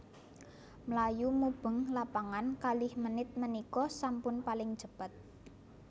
Mlayu mubeng lapangan kalih menit menika sampun paling cepet